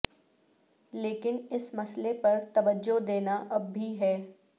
لیکن اس مسئلے پر توجہ دینا اب بھی ہے